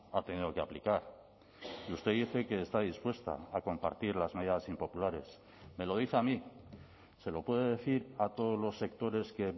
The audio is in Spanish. ha tenido que aplicar y usted dice que está dispuesta a compartir las medidas impopulares me lo dice a mí se lo puede decir a todos los sectores que